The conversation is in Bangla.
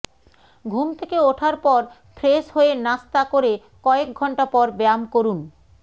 ঘুম থেকে ওঠার পর ফ্রেশ হয়ে নাস্তা করে কয়েক ঘণ্টা পর ব্যায়াম করুন